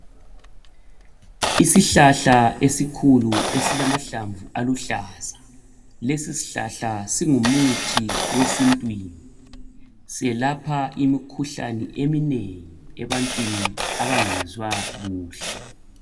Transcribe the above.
isihlahla esikhulu esilamahlamvu aluhlaza lesi sihlahla singu muthi wesintwini selapha imikhuhlane eminengi ebantwini abangezwa kuhle